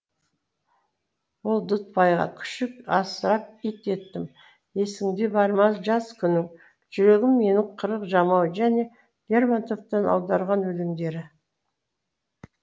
ол дүтбайға күшік асырап ит еттім есіңде бар ма жас күнің жүрегім менің қырық жамау және лермонтовтан аударған өлеңдері